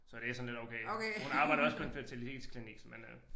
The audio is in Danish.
Så det sådan lidt okay hun arbejder også på en fertilitetsklinik men øh